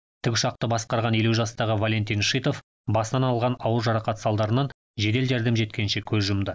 тікұшақты басқарған елу жастағы валентин шитов басынан алған ауыр жарақат салдарынан жедел жәрдем жеткенше көз жұмды